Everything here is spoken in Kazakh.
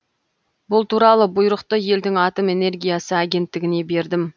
бұл туралы бұйрықты елдің атом энергиясы агенттігіне бердім